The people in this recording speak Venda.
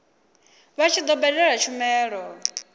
vha tshi do badela tshumelo